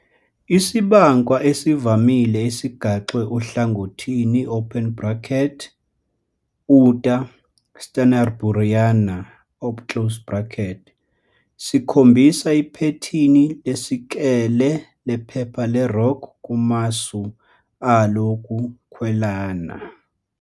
Isibankwa esivamile esigaxwe ohlangothini, "Uta stansburiana", sikhombisa iphethini lesikele lephepha le-rock kumasu alo wokukhwelana.